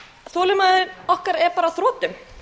þolinmæði okkar er bara á þrotum